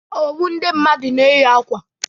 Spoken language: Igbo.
Ọwụ ndị mmadụ na-eyi ákwà.